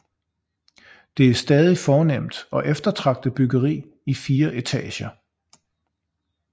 Det er stadig fornemt og eftertragtet byggeri i fire etager